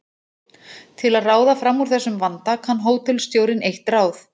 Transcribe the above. Til að ráða fram úr þessum vanda kann hótelstjórinn eitt ráð.